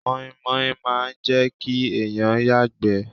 Mọ́ímọ́í máa n jẹ́ kí èèyàn yàgbẹ́